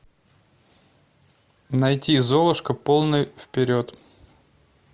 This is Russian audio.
найти золушка полный вперед